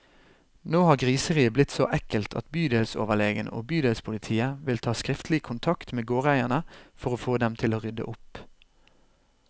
Nå har griseriet blitt så ekkelt at bydelsoverlegen og bydelspolitiet vil ta skriftlig kontakt med gårdeierne, for å få dem til å rydde opp.